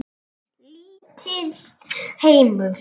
Lítill heimur.